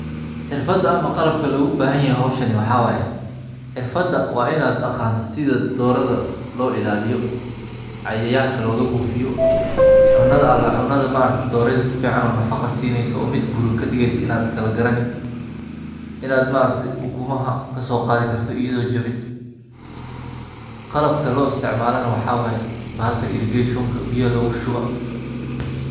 xirfada ama qalabka loo gubahanyahay hooshani waxawaye .Xirfada waainad aqanto sida doorada looilaaliyo cayanka lookabuufiyo cuna ala cuna doorada nafaqa siinooyso oomid buuran kadigaysoo inadkalagarani inad maaragte ukumaha kasooqathikarto iyakonajawin qalabka looistacmalana waxawaye bahalka irrigation biyaha loogashushuwa.